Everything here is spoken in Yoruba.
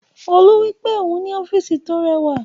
Olú wípé òhun ní ọ́físì tí ó rẹwà